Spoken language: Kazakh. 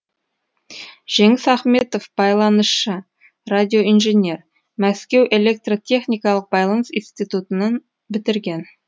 жеңіс ахметов байланысшы радиоинженер мәскеу электро техникалық байланыс институтын бітірген